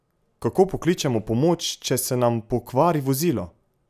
Kako pokličemo pomoč, če se nam pokvari vozilo?